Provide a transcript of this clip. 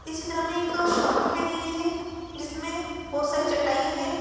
इस चित्र में एक शॉप दिखाई दे रही है जिसमें बहुत सारी चटाई है।